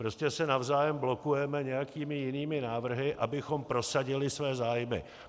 Prostě se navzájem blokujeme nějakými jinými návrhy, abychom prosadili své zájmy.